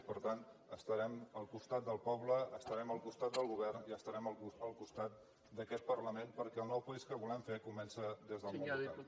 i per tant estarem al costat del poble estarem al costat del govern i estarem al costat d’aquest parlament perquè el nou país que volem fer comença des del món local